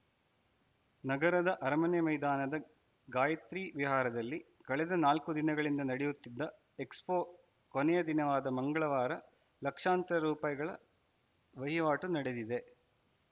ನಗರದ ಅರಮನೆ ಮೈದಾನದ ಗಾಯಿತ್ರಿ ವಿಹಾರದಲ್ಲಿ ಕಳೆದ ನಾಲ್ಕು ದಿನಗಳಿಂದ ನಡೆಯುತ್ತಿದ್ದ ಎಕ್ಸ್‌ಫೋ ಕೊನೆಯ ದಿನವಾದ ಮಂಗಳವಾರ ಲಕ್ಷಾಂತರ ರೂಪಾಯಿಗಳ ವಹಿವಾಟು ನಡೆದಿದೆ